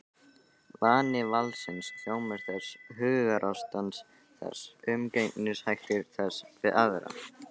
Vani valdsins, hljómur þess, hugarástand þess, umgengnishættir þess við aðra.